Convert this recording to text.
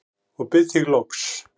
og bið þig loks